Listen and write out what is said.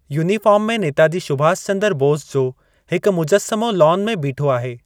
Uniform में नेताजी सुबाश चंदरु बोस जो हिकु मुजसमो लॉन में बीठो आहे।